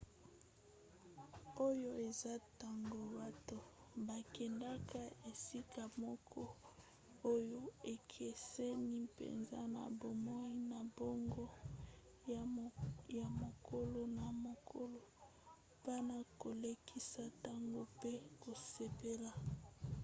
oyo eza ntango bato bakendaka esika moko oyo ekeseni mpenza na bomoi na bango ya mokolo na mokolo mpona kolekisa ntango pe kosepela